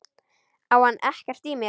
Á hann ekkert í mér?